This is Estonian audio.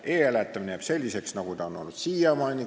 E-hääletamine jääb selliseks, nagu ta on siiamaani olnud.